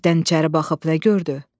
Deşikdən içəri baxıb nə gördü?